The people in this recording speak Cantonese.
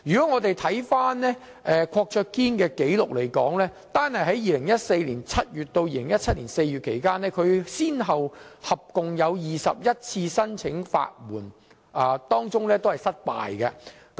我們翻看郭卓堅的紀錄，單在2014年7月至2017年4月期間，他先後提出共21次法援申請，當中全部失敗。